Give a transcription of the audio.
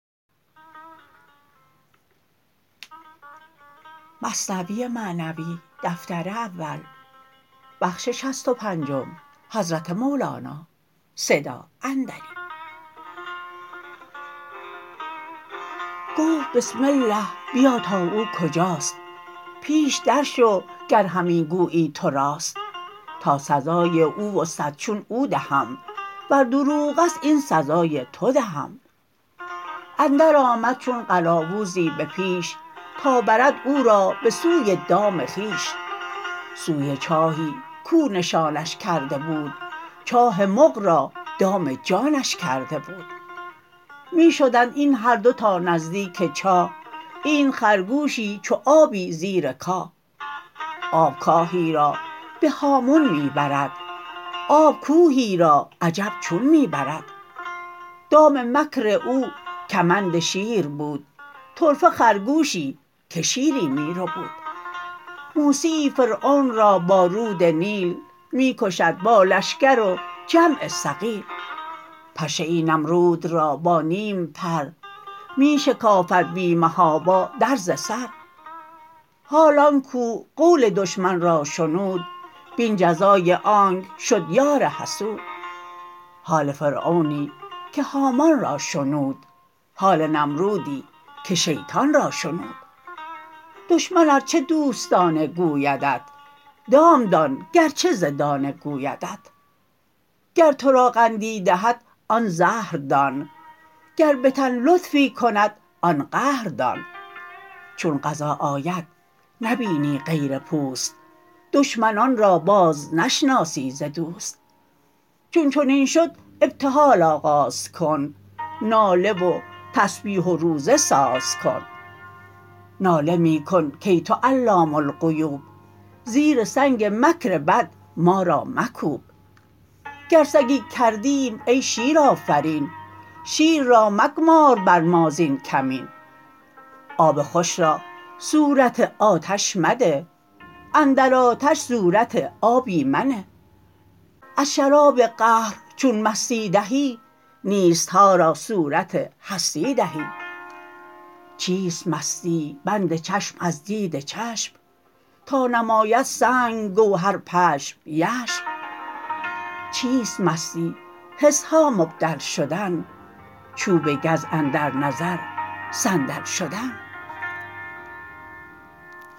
گفت بسم الله بیا تا او کجاست پیش در شو گر همی گویی تو راست تا سزای او و صد چون او دهم ور دروغست این سزای تو دهم اندر آمد چون قلاووزی به پیش تا برد او را به سوی دام خویش سوی چاهی کو نشانش کرده بود چاه مغ را دام جانش کرده بود می شدند این هر دو تا نزدیک چاه اینت خرگوشی چو آبی زیر کاه آب کاهی را به هامون می برد آب کوهی را عجب چون می برد دام مکر او کمند شیر بود طرفه خرگوشی که شیری می ربود موسیی فرعون را با رود نیل می کشد با لشکر و جمع ثقیل پشه ای نمرود را با نیم پر می شکافد بی محابا درز سر حال آن کو قول دشمن را شنود بین جزای آنک شد یار حسود حال فرعونی که هامان را شنود حال نمرودی که شیطان را شنود دشمن ار چه دوستانه گویدت دام دان گرچه ز دانه گویدت گر ترا قندی دهد آن زهر دان گر بتن لطفی کند آن قهر دان چون قضا آید نبینی غیر پوست دشمنان را باز نشناسی ز دوست چون چنین شد ابتهال آغاز کن ناله و تسبیح و روزه ساز کن ناله می کن کای تو علام الغیوب زیر سنگ مکر بد ما را مکوب گر سگی کردیم ای شیرآفرین شیر را مگمار بر ما زین کمین آب خوش را صورت آتش مده اندر آتش صورت آبی منه از شراب قهر چون مستی دهی نیستها را صورت هستی دهی چیست مستی بند چشم از دید چشم تا نماید سنگ گوهر پشم یشم چیست مستی حسها مبدل شدن چوب گز اندر نظر صندل شدن